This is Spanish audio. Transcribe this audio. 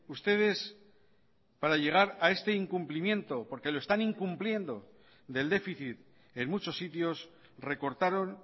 ustedes para llegar a este incumplimiento porque lo están incumpliendo del déficit en muchos sitios recortaron